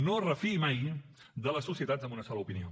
no es refiï mai de les societats amb una sola opinió